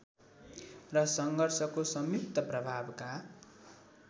र सङ्घर्षको संयुक्त प्रभावका